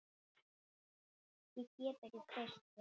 Ég get ekki treyst þér.